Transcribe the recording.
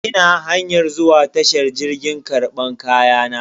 Ina hanyar zuwa tashar jirgi karban kayana.